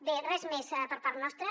bé res més per part nostra